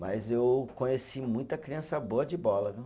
Mas eu conheci muita criança boa de bola, viu?